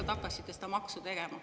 Lihtsalt hakkasite seda maksu tegema.